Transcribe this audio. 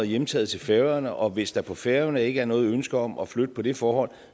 hjemtaget til færøerne og hvis der på færøerne ikke er noget ønske om at flytte på det forhold